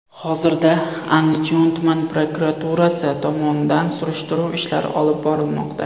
Hozirda Andijon tumani prokuraturasi tomonidan surishtiruv ishlari olib borilmoqda.